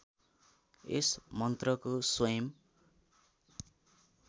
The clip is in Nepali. यस मन्त्रको स्वयम्